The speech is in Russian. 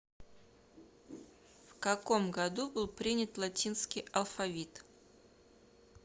в каком году был принят латинский алфавит